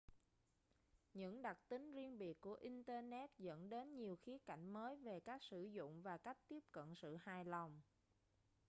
những đặc tính riêng biệt của internet dẫn đến nhiều khía cạnh mới về cách sử dụng và cách tiếp cận sự hài lòng